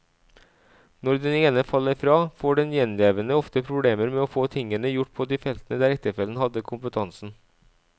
Når den ene faller fra, får den gjenlevende ofte problemer med å få tingene gjort på de feltene der ektefellen hadde kompetansen.